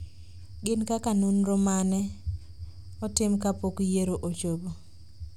gin kaka nonro mane otim kapok yiero ochopo